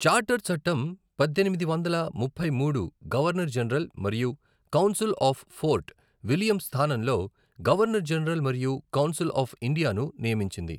Charter చట్టం పద్దెనిమిది వందల ముప్పై మూడు గవర్నర్ జనరల్ మరియు కౌన్సిల్ ఆఫ్ ఫోర్ట్ విలియం స్థానంలో గవర్నర్ జనరల్ మరియు కౌన్సిల్ ఆఫ్ ఇండియాను నియమించింది.